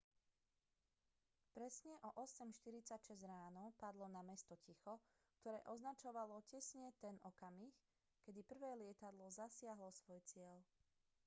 presne o 8:46 ráno padlo na mesto ticho ktoré označovalo presne ten okamih kedy prvé lietadlo zasiahlo svoj cieľ